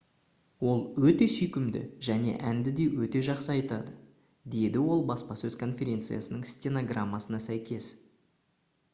«ол өте сүйкімді және әнді де өте жақсы айтады» - деді ол баспасөз конференциясының стенограммасына сәйкес